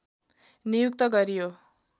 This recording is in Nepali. नियुक्त गरियो